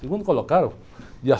Segundo colocado?